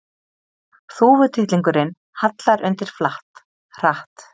Þúfutittlingurinn hallar undir flatt, hratt.